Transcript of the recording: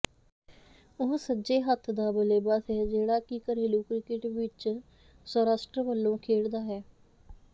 ਉਹ ਸੱਜੇ ਹੱਥ ਦਾ ਬੱਲੇਬਾਜ਼ ਹੈ ਜਿਹੜਾ ਕਿ ਘਰੇਲੂ ਕ੍ਰਿਕਟ ਵਿੱਚ ਸੌਰਾਸ਼ਟਰ ਵੱਲੋਂ ਖੇਡਦਾ ਹੈ